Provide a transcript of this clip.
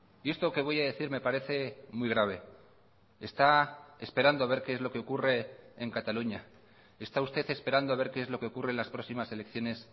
y esto que voy a decir me parece muy grave está esperando a ver qué es lo que ocurre en cataluña está usted esperando a ver qué es lo que ocurre en las próximas elecciones